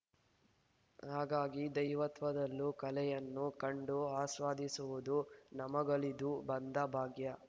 ಹಾಗಾಗಿ ದೈವತ್ವದಲ್ಲೂ ಕಲೆಯನ್ನು ಕಂಡು ಆಸ್ವಾದಿಸುವುದು ನಮಗೋಲಿದು ಬಂದ ಭಾಗ್ಯ